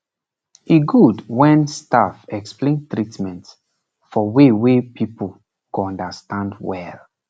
e good when staff explain treatment for way wey people go understand well